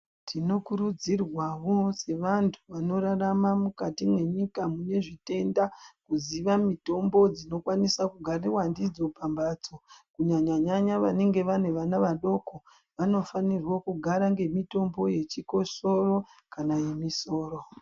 Tinokurudzirwo sewandu wanorarama mukati mwenyika munezvitenda, kuziwa mitombo dzinokwanisa kugariwa ndidzo pambatso, kunyanya nyanya wanenge wane wana wadoko, wanofanirwa kugara ngemitombo yechikosoro kana yemusoro.